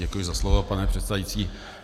Děkuji za slovo, pane předsedající.